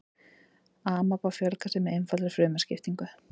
amaba fjölgar sér með einfaldri frumuskiptingu